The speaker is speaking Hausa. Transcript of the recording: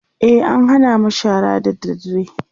e an Hana mu shara da dadre